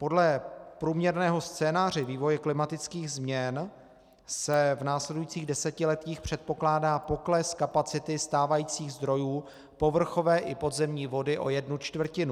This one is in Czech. Podle průměrného scénáře vývoje klimatických změn se v následujících desetiletích předpokládá pokles kapacity stávajících zdrojů povrchové i podzemní vody o jednu čtvrtinu.